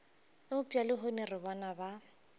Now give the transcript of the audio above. eupša lehono re bona ba